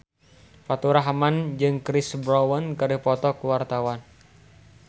Faturrahman jeung Chris Brown keur dipoto ku wartawan